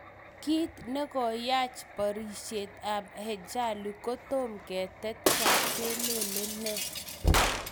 Kiit negoyach porisiet ap hachalu kotom ketet kwak kele ne.